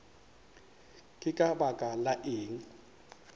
ke ka baka la eng